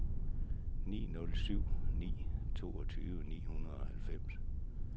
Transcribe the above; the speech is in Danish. ni nul syv ni toogtyve ni hundrede og halvfems